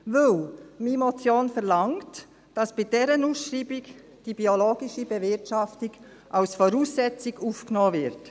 Denn meine Motion verlangt, dass bei dieser Ausschreibung die biologische Bewirtschaftung als Voraussetzung aufgenommen wird.